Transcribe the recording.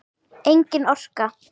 Engin orka.